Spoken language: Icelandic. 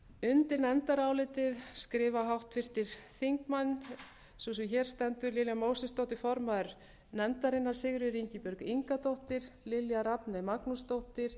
undi nefndarálitið skrifa háttvirtir þingmenn sú sem hér stendur lilja mósesdóttir formaður nefndarinnar sigríður ingibjörg ingadóttir lilja rafney magnúsdóttir